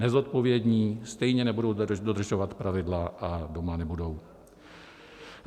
Nezodpovědní stejně nebudou dodržovat pravidla a doma nebudou.